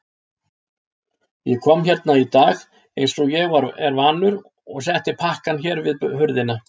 Ég kom hérna í dag einsog ég er vanur og setti pakkann hérna við hurðina.